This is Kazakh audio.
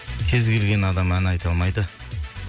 кез келген адам ән айта алмайды